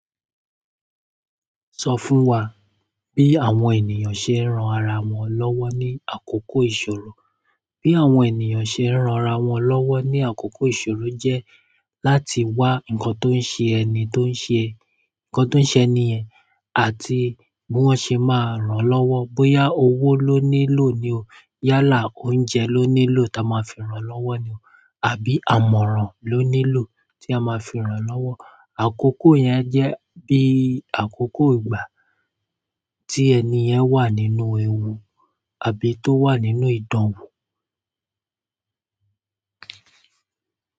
Sọ fún wa bí àwọn ènìyàn ṣe ń ran ara wọn lọ́wọ́ ní àkókò ìṣòro. Bí àwọn ènìyàn ṣe ń ran ra wọn lọ́wọ́ ní àkókò ìṣòro jẹ́ láti wá nǹkan tó ń ṣe ẹni tó ń ṣe, nǹkan tó ń ṣe ẹni yẹ̀n àti bí wọ́n ṣe máa ràn án lọ́wọ́. Bóyá owó ló nílò ni o, yálà oúnjẹ ló nílò ta ma fi ràn án lọ́wọ́ ni o, àbí àmọ̀ràn ló nílò tí a máa fi ràn án lọ́wọ́. Àkókò yẹn jẹ́ bí àkókò ìgbà tí ẹni yẹn wà nínú ewu àbí tó wà nínú ìdánwò.